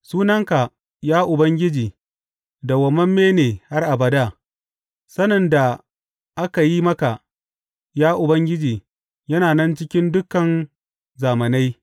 Sunanka, ya Ubangiji, dawwammame ne har abada, sanin da aka yi maka, ya Ubangiji, yana nan cikin dukan zamanai.